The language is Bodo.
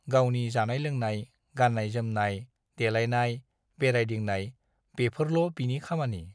गावनि जानाय-लोंनाय, गान्नाय-जोमनाय, देलायनाय, बेरायदिंनाय - बेफोरल' बिनि खामानि।